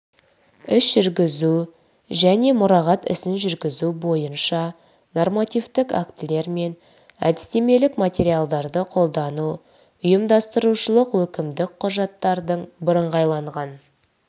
іс жүргізу және мұрағат ісін жүргізу бойынша нормативтік актілер мен әдістемелік материалдарды қолдану ұйымдастырушылық өкімдік құжаттардың бірыңғайланған